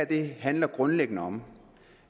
det her handler grundlæggende om